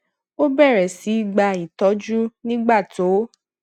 ó bèrè sí í gba ìtójú nígbà tó